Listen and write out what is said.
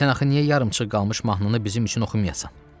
Sən axı niyə yarımçıq qalmış mahnını bizim üçün oxumayasan?